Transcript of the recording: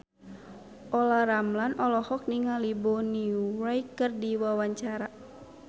Olla Ramlan olohok ningali Bonnie Wright keur diwawancara